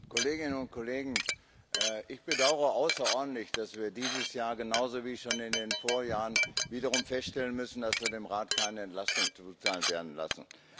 Herr Präsident, Kolleginnen und Kollegen! Ich bedaure außerordentlich, dass wir dieses Jahr genauso wie schon in den Vorjahren wiederum feststellen müssen, dass wir dem Rat keine Entlastung zuteilwerden lassen.